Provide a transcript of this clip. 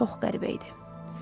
Çox qəribə idi.